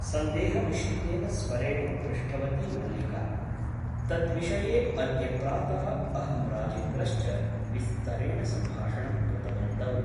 सन्देहमिश्रितेन स्वरेण पृष्टवती मल्लिका । तद्विषये अद्य प्रातः अहं राजेन्द्रश्च विस्तरेण सम्भाषणं कृतवन्तौ ।